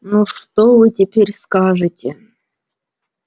ну что вы теперь скажете